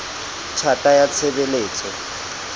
tj hata ya tshe beletso